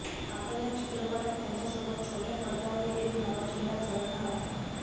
आता या चित्रपटात त्यांच्यासोबत छोट्या पडद्यावरील एक नवा चेहरा झळकणार आहे